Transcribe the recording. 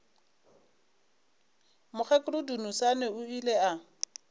mokgekolo dunusani o ile a